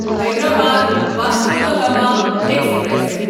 Hyderabad Vasco da Gama express